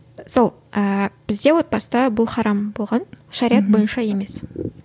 сол ыыы бізде отбасыда бұл харам болған шариғат бойынша емес